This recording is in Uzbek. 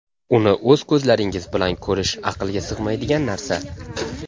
Uni o‘z ko‘zlaringiz bilan ko‘rish aqlga sig‘maydigan narsa.